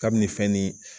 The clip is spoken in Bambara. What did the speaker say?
Kabini fɛn ni